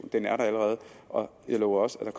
den er der allerede og jeg lover også at der